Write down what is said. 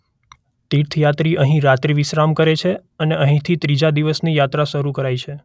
તીર્થયાત્રી અહીં રાત્રિ વિશ્રામ કરે છે અને અહીંથી ત્રીજા દિવસની યાત્રા શરૂ કરાય છે.